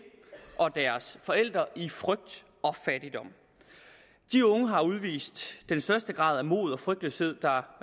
og deres forældre i frygt og fattigdom de unge har udvist den største grad af mod og frygtløshed der